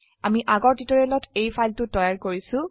আমিআগৰ টিউটৰিয়েলত এই ফাইলটো তৈয়াৰ কৰিছো